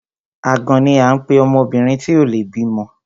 Àgàn ni à ń pe obìnrin tí ò le bímọ.